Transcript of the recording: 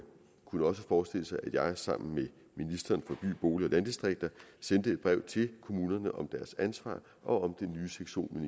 kunne også forestille sig at jeg sammen med ministeren for bolig og landdistrikter sender et brev til kommunerne om deres ansvar og om den nye sektion